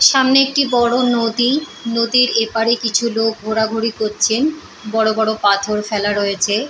সামনে একটি বড় নদী। নদীর এপারে কিছু লোক ঘোরাঘুরি করছেন। বড় বড় পাথর ফেলা রয়েছে।